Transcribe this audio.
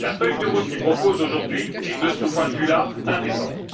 La feuille de route qu'il propose aujourd'hui est, de ce point de vue là, indécente.